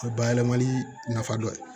O ye bayɛlɛmali nafa dɔ ye